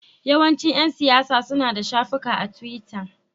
Yawancin ƴan siyasa suna da shafukan a tiwita.